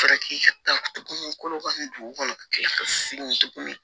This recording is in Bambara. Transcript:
Fara k'i ka tuguni kolo kɔni dugu kɔnɔ kilasi tuguni